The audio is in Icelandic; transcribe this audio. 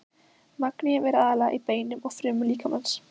Magníum er aðallega í beinum og frumum líkamans.